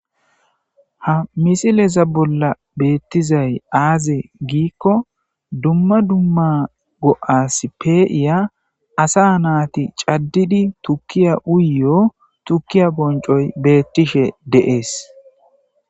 ha misileza bolla beettizay aaze giikko dumma dumma go7as peiya asa naati caddidi tukkiya uyyo tukkiya boncoy beettishe deees